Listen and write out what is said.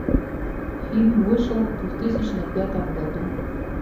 фильм вышел в две тысячи пятом году